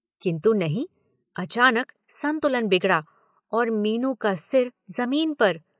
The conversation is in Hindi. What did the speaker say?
किन्तु नहीं, अचानक संतुलन बिगड़ा और मीनू का सिर ज़मीन पर।